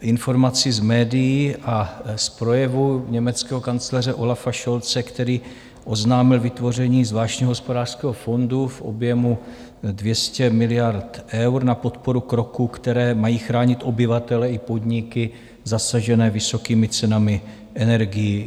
informaci z médií a z projevu německého kancléře Olafa Scholze, který oznámil vytvoření zvláštního hospodářského fondu v objemu 200 miliard eur na podporu kroků, které mají chránit obyvatele i podniky zasažené vysokými cenami energií.